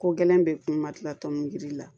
Ko gɛlɛn bɛɛ kun ma kila tɔngili la